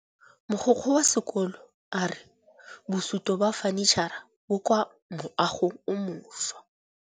Mogokgo wa sekolo a re bosutô ba fanitšhara bo kwa moagong o mošwa.